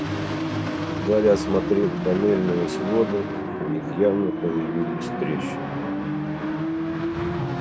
гарри осмотрел тоннельные своды в них явно появились трещины